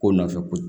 Ko nɔfɛ ko